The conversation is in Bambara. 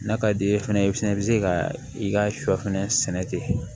N'a ka di ye fɛnɛ i fɛnɛ bɛ se ka i ka sɔ fɛnɛ sɛnɛ ten